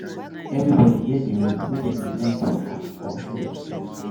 Everybody get the way wey dem like to act or show themselves